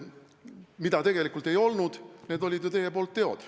Mida tegelikult ei olnud, need olid ju teie teod.